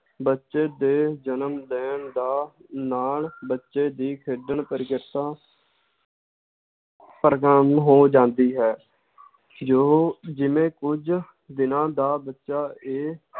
ਬੱਚੇ ਦੇ ਜਨਮ ਦਿਨ ਦਾ ਨਾਲ ਬੱਚੇ ਦੀ ਖੇਡਣ ਪ੍ਰੀਕਿਰਤਾ ਹੋ ਜਾਂਦੀ ਹੈ ਜੋ ਜਿਵੇਂ ਕੁਝ ਦਿਨਾਂ ਦਾ ਬੱਚਾ ਇਹ